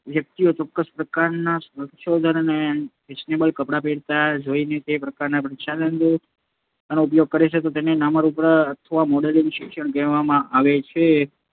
વ્યક્તિઓને ચોક્કસ પ્રકારનાં પ્રસાધનો અને ફેશનેબલ કપડાં વાપરતાં જોઈને તે પ્રકારનાં પ્રસાધનો અને કપડાંનો ઉપયોગ કરે તો તેને નમૂનારૂપ અથવા મોડેલિંગ શિક્ષણ પણ કહેવામાં આવે છે.